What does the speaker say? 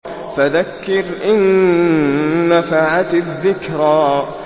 فَذَكِّرْ إِن نَّفَعَتِ الذِّكْرَىٰ